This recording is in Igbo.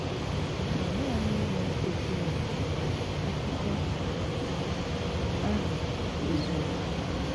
Màna nanị ìnwè Òkwù ya, àkụ̀kọ àhụ, ezùghì.